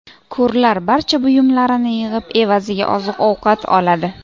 Ko‘rlar barcha buyumlarini yig‘ib, evaziga oziq-ovqat oladi.